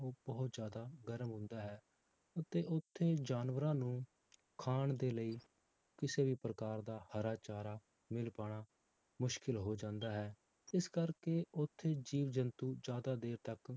ਉਹ ਬਹੁਤ ਜ਼ਿਆਦਾ ਗਰਮ ਹੁੰਦਾ ਹੈ, ਅਤੇ ਉੱਥੇ ਜਾਨਵਰਾਂ ਨੂੰ ਖਾਣ ਦੇ ਲਈ ਕਿਸੇ ਵੀ ਪ੍ਰਕਾਰ ਦਾ ਹਰਾ ਚਾਰਾ ਮਿਲ ਪਾਉਣਾ ਮੁਸ਼ਕਿਲ ਹੋ ਜਾਂਦਾ ਹੈ, ਇਸ ਕਰਕੇ ਉੱਥੇ ਜੀਵ ਜੰਤੂ ਜ਼ਿਆਦਾ ਦੇਰ ਤੱਕ